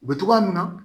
U bɛ togoya minna